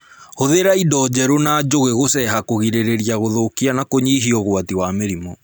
Hũthĩra indo theru na njũgĩ gũceha kũgirĩrĩria gũthũkia na kũnyihia ũgwati wa mĩrimũ